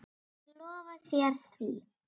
Ég lofa þér því.